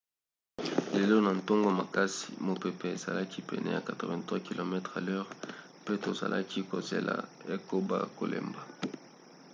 lelo na ntongo makasi mopepe ezalaki pene ya 83 km/h mpe tozalaki kozela ekoba kolemba